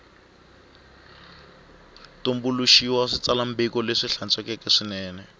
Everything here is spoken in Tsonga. tumbuluxiwile xitsalwambiko lexi hlantswekeke swinene